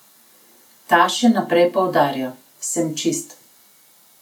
Ta še naprej poudarja: 'Sem čist.